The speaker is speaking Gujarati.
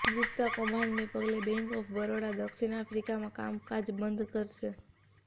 ગુપ્તા કૌભાંડને પગલે બેંક ઓફ બરોડા દક્ષિણ આફ્રિકામાં કામકાજ બંધ કરશે